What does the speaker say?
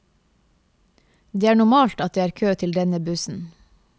Det er normalt at det er kø til denne bussen.